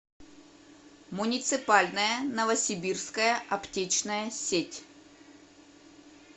муниципальная новосибирская аптечная сеть